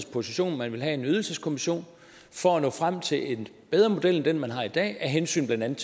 position at man ville have en ydelseskommission for at nå frem til en bedre model end den man har i dag af hensyn til blandt